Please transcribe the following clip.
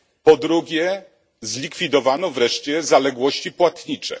Po drugie, zlikwidowano wreszcie zaległości płatnicze.